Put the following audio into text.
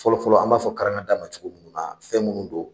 Fɔlɔ-fɔlɔ an b'a fɔ karangada ma cogo minnu na fɛn minnu don